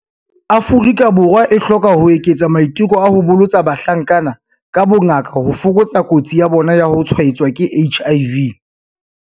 Afrika Borwa e hloka ho eketsa maiteko a ho bolotsa bahlankana ka bongaka ho fokotsa kotsi ya bona ya ho tshwaetswa ke HIV.